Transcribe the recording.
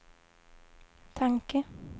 tanke